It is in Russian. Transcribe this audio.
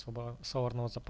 салат